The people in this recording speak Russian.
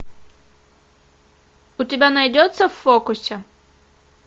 у тебя найдется в фокусе